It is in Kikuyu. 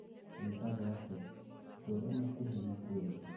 Wĩtagwo atia? Twĩre makuhi makwĩgiĩ